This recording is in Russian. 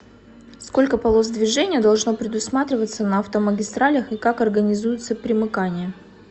сколько полос движения должно предусматриваться на автомагистралях и как организуются примыкания